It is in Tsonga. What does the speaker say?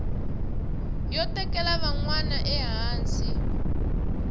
yo tekela van wana ehansi